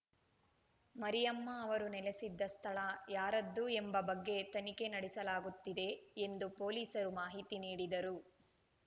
ಮರಿಯಮ್ಮ ಅವರು ನೆಲೆಸಿದ್ದ ಸ್ಥಳ ಯಾರದ್ದು ಎಂಬ ಬಗ್ಗೆ ತನಿಖೆ ನಡೆಸಲಾಗುತ್ತಿದೆ ಎಂದು ಪೊಲೀಸರು ಮಾಹಿತಿ ನೀಡಿದರು